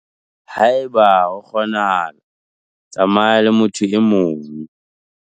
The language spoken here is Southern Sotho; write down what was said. Haeba ho kgona hala, tsamaya le motho e mong.